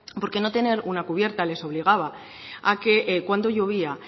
porque no tener una cubierta les obligaba a que cuando llovía